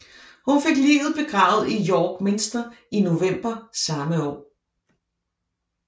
Hun fik liget begravet i York Minster i november samme år